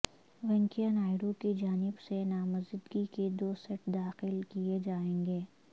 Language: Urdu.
وینکیا نائیڈو کی جانب سے نامزدگی کے دو سیٹ داخل کئے جائیں گے